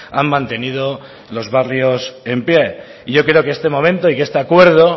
han mantenido los barrios de pie y yo creo que este momento y que este acuerdo